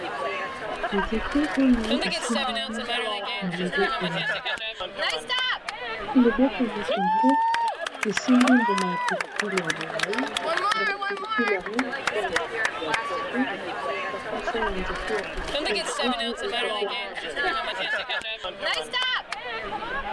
nzete oyo esimbami na loboko ya motoloboko ya motongo esimbi mbuma ya pilipili ya molai mbuma pilipile ya rom eza na langi ya pondo bakasa ya nzete ya tulipili oyo eza pe na langi ya pondo